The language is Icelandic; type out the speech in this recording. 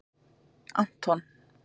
Anton